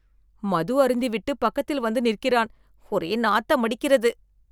மது அருந்திவிட்டு பக்கத்தில் வந்து நிற்கிறான் ஒரே நாத்தமடிக்கிறது